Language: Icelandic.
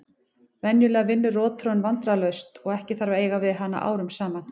Venjulega vinnur rotþróin vandræðalaust og ekki þarf að eiga við hana árum saman.